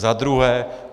Za druhé.